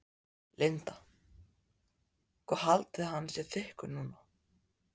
Linda: Hvað haldið þið að hann sé þykkur núna?